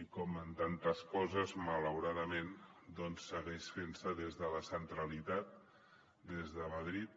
i com en tantes coses malauradament doncs segueix fent se des de la centralitat des de madrid